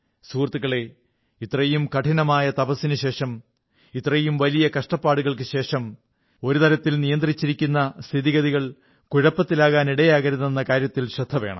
സുഹൃത്തുക്കളേ ഇത്രയും കഠിനമായ തപസ്സിനുശേഷം ഇത്രയും വലിയ കഷ്ടപ്പാടുകൾക്കുശേഷം ഒരു തരത്തിൽ നിയന്ത്രിച്ചിരിക്കുന്ന സ്ഥിതിഗതികൾ കുഴപ്പത്തിലാകാൻ ഇടയാക്കരുതെന്ന കാര്യത്തിൽ ശ്രദ്ധ വേണം